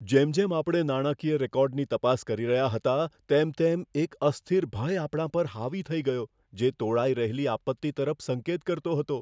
જેમ જેમ આપણે નાણાકીય રેકોર્ડની તપાસ કરી રહ્યા હતા, તેમ તેમ એક અસ્થિર ભય આપણા પર હાવી થઈ ગયો, જે તોળાઈ રહેલી આપત્તિ તરફ સંકેત કરતો હતો.